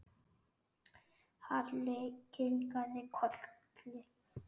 Halli kinkaði kolli.